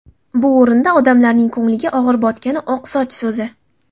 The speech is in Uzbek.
Bu o‘rinda odamlarning ko‘ngliga og‘ir botgani – ‘oqsoch’ so‘zi.